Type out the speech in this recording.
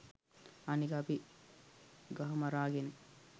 අනික අපි ගහමරාගෙන